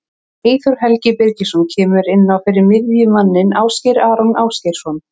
Eyþór Helgi Birgisson kemur inn á fyrir miðjumanninn Ásgeir Aron Ásgeirsson.